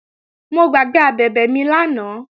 Mo gbàgbé abẹ̀bẹ̀ mi lánàá